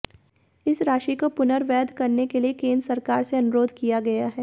इस राशि को पुनर्वैध करने के लिए केन्द्र सरकार से अनुरोध किया गया है